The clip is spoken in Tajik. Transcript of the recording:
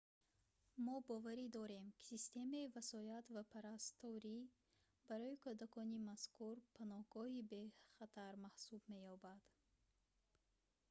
мо боварӣ дорем ки системаи васоят ва парасторӣ барои кӯдакони мазкур паноҳгоҳи бехатар маҳсуб меёбад